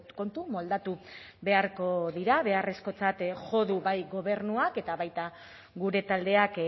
kontu moldatu beharko dira beharrezkotzat jo du bai gobernuak eta baita gure taldeak